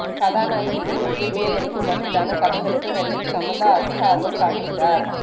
கதாநாயகிக்கு முக்கியத்துவம் அளிக்கும் வகையிலான கதைகளுக்கு நடிகை சமந்தா அதிக ஆர்வம் காட்டுகிறார்